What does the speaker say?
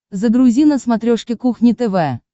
загрузи на смотрешке кухня тв